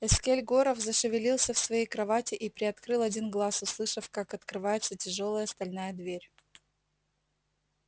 эскель горов зашевелился в своей кровати и приоткрыл один глаз услышав как открывается тяжёлая стальная дверь